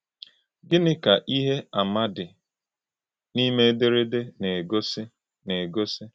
Gịnị ka ihe àmà dị n’ime ederede na-egosi? na-egosi?